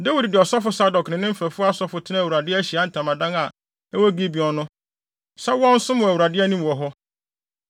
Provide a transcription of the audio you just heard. Dawid de ɔsɔfo Sadok ne ne mfɛfo asɔfo tenaa Awurade Ahyiae Ntamadan a ɛwɔ bepɔw Gibeon no, sɛ wɔnsom wɔ Awurade anim wɔ hɔ.